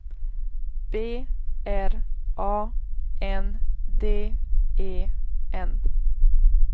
B R A N D E N